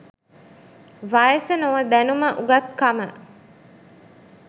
වයස නොව දැනුම උගත්කම